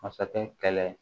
Masakɛ kɛlɛ